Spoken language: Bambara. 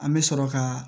An bɛ sɔrɔ ka